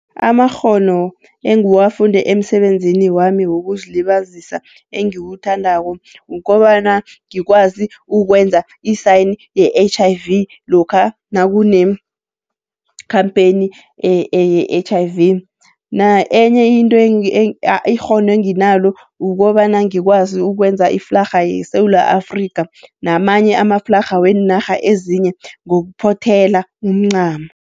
Amakghono engiwafunde emisebenzini wami wokuzilibazisa engiwuthandako, ukobana ngikwazi ukwenza i-sign ye-H_I_V lokha nakune-campaign ye-H_I_V. Enye into ikghono enginalo kukobana ngikwazi ukwenza iflarha yeSewula Afrika, namanye amaflarha wenarha ezinye ngokuphothela umncamo.